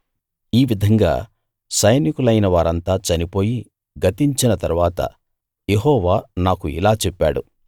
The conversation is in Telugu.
ఈ విధంగా సైనికులైన వారంతా చనిపోయి గతించిన తరువాత యెహోవా నాకు ఇలా చెప్పాడు